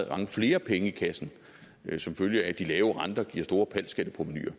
mange flere penge i kassen som følge af at de lave renter giver store pal skatteprovenuer